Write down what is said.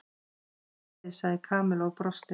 Sömuleiðis sagði Kamilla og brosti.